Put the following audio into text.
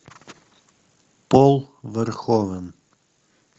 пол верховен